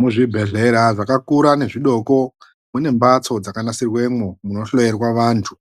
Muzvibhedhleya zvakakura nezvidoko munembatso dzakanasirwemwo munohloerwa vandu,